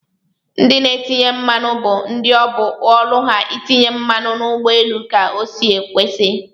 Ndi n'etinye mmanụ bu ndi obu ọlụ ha itinye mmanụ n'ugbọ elu ka osi kwesi.